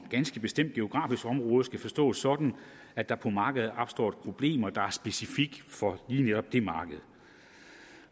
ganske bestemt geografisk område skal forstås sådan at der på markedet opstår et problem der er specifikt for lige netop det marked